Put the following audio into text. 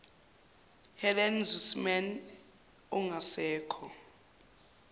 helen suzman ongasekho